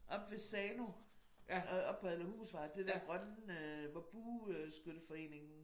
Oppe ved Sano øh oppe ved Adlerhusvej det dér grønne øh hvor bueskytteforeningen